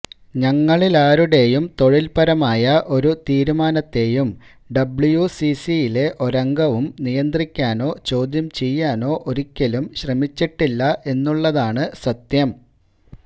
ഞങ്ങളിലാരുടെയും തൊഴിൽപരമായ ഒരു തീരുമാനത്തെയും ഡബ്ല്യൂസിസിയിലെ ഒരംഗവും നിയന്ത്രിക്കാനോ ചോദ്യം ചെയ്യാനോ ഒരിക്കലും ശ്രമിച്ചിട്ടില്ല എന്നുള്ളതാണ് സത്യം